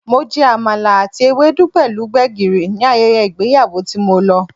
Mo jẹ Àmàlà àti Ewedu pẹ̀lú gbegiri ní ayẹyẹ ìgbéyàwó tí mo lọ.